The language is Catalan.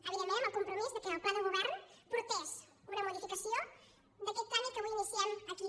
evidentment amb el compromís que el pla de govern portés una modificació d’aquest tràmit que avui iniciem aquí